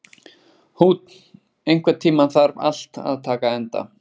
Húnn, einhvern tímann þarf allt að taka enda.